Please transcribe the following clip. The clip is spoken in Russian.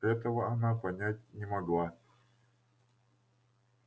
этого она понять не могла